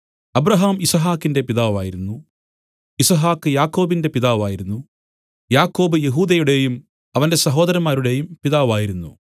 Abraham യിസ്ഹാക്കിന്റെ പിതാവായിരുന്നു യിസ്ഹാക്ക് യാക്കോബിന്റെ പിതാവായിരുന്നു യാക്കോബ് യെഹൂദയുടേയും അവന്റെ സഹോദരന്മാരുടെയും പിതാവായിരുന്നു